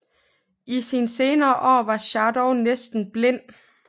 I sine senere år var Schadow næsten blind